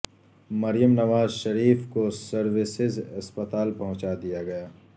مریم نواز شریف کو سروسز اسپتال پہنچا دیا گیا